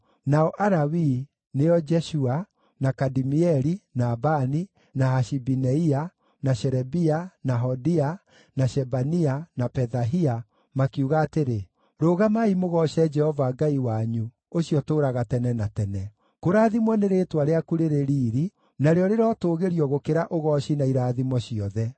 Nao Alawii nĩo Jeshua, na Kadimieli, na Bani, na Hashabineia, na Sherebia, na Hodia, na Shebania, na Pethahia, makiuga atĩrĩ, “Rũgamai mũgooce Jehova Ngai wanyu, ũcio ũtũũraga tene na tene.” “Kũrathimwo nĩ rĩĩtwa rĩaku rĩrĩ riiri, narĩo rĩrotũũgĩrio gũkĩra ũgooci na irathimo ciothe.